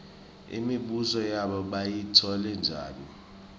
imibuso yabo bayitfole njani